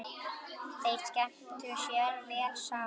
Þeir skemmtu sér vel saman.